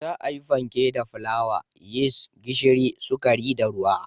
Za a yi fanke da fulawa, yis, gishiri, sukari da ruwa.